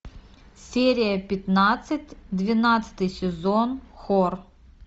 серия пятнадцать двенадцатый сезон хор